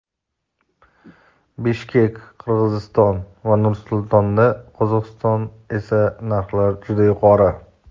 Bishkek (Qirg‘iziston) va Nur-Sultonda (Qozog‘iston) esa narxlar juda yuqori.